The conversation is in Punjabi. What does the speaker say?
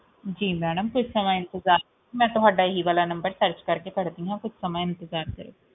ਜੀ ਮੈਡਮ ਕੁਜ ਸਮਾਂ ਇੰਤਜ਼ਾਰ ਕਰੋ ਮੈਂ ਤੁਹਾਡਾ ਹੀ ਵਾਲਾ numbersearch ਕਰਕੇ ਕੱਢੀ ਆ ਕੁਛ ਸਮਾਂ ਇੰਤਜ਼ਾਰ ਕਰੋ